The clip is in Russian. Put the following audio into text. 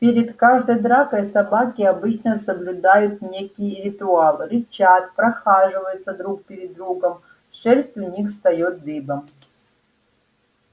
перед каждой дракой собаки обычно соблюдают некий ритуал рычат прохаживаются друг перед другом шерсть у них встаёт дыбом